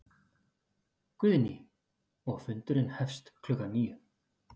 Guðný: Og fundurinn hefst klukkan níu?